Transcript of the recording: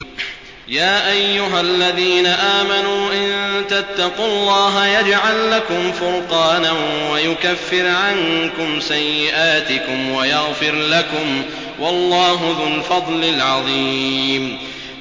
يَا أَيُّهَا الَّذِينَ آمَنُوا إِن تَتَّقُوا اللَّهَ يَجْعَل لَّكُمْ فُرْقَانًا وَيُكَفِّرْ عَنكُمْ سَيِّئَاتِكُمْ وَيَغْفِرْ لَكُمْ ۗ وَاللَّهُ ذُو الْفَضْلِ الْعَظِيمِ